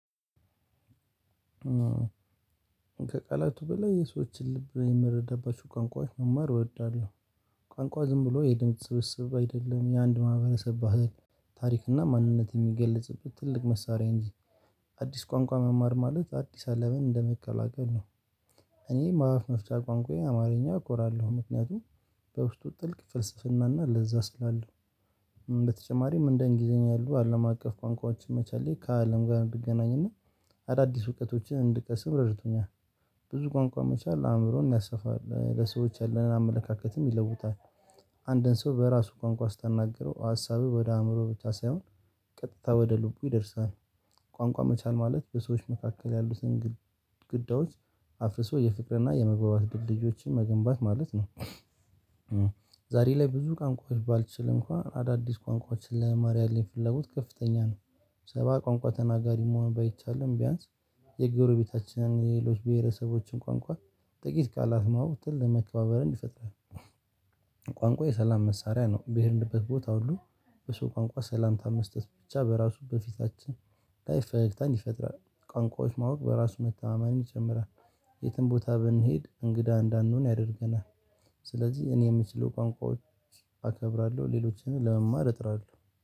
ከቃላቱ በላይ የሰዎችን ልብ የምረዳባቸው ቋንቋዎች መማር እወዳለሁ። ቋንቋ ዝም ብሎ የድምጽ ስብስብ አይደለም የአንድ ማህበረሰብ ባህል ታሪክና ማንነት የሚገለጽበት ትልቅ መሳሪያ እንጂ አዲስ ቋንቋ መማር ማለት አዲስ አለምን እንደመቀላቀል ነው። እኔ ማአፍ መፍቻ ቋንቋዬ አማርኛ እኮራለሁ ምክንያቱም በውስጡ ጥልቅ ፍልስፍናና ለዛ ስላለው በተጨማሪም እንደ እንግሊዘኛ ያሉ አለም አቀፍ ቋንቋዎችን መቻሌ ከአለም ጋር እንድገናኝና አዳዲስ እውቀቶችን እንድቀስም ረድቶኛል። ብዙ ቋንቋ መቻል አእምሮን ያሰፋል ለሰዎች ያለንን አመለካከትም ይለውጣል። አንድን ሰው በራሱ ቋንቋ ስታናግረው ሀሳብህ ወደ አእምሮህ ብቻ ሳይሆን ቀጥታ ወደ ልቡ ይደርሳል። ቋንቋ መቻል ማለት በሰዎች መካከል ያሉትን ግዳዎች አፍርሶ የፍቅርና የመግባባት ድልድዮችን መገንባት ማለት ነው። ዛሬ ላይ ብዙ ቋንቋዎች ባልችል እንኳን አዳዲስ ቋንቋዎችን ለመማር ያለኝ ፍላጎት ከፍተኛ ነው። ሰባ ቋንቋ ተናጋሪ መሆን ባይቻልም ቢያንስ የጎረቤታችንን የሌሎች ብሄረሰቦችን ቋንቋ ጥቂት ቃላት ማወቅ ግን ለመከባበር እንዲፈጥርህ። ቋንቋ የሰላም መሳሪያ ነው በሄድንበት ቦታ ሁሉ በሰው ቋንቋ ሰላምታ መስጠት ብቻ በራሱ በፊታችን ፈገግታን ይፈጥራል። ቋንቋዎች ማወቅ የራሱ መተማመን ይጨምራል። የትም ቦታ ብንሄድ እንግዳ እንዳንሆን ያደርገናል። ስለዚህ እኔ የምችለው ቋንቋዎች አከብራለሁ ሌሎችንም ለመማር እጥራለሁ።